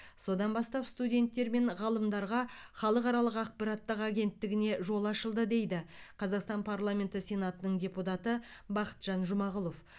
содан бастап студенттер мен ғалымдарға халықаралық ақпараттық агенттігіне жол ашылды дейді қазақстан парламенті сенатының депутаты бақытжан жұмағұлов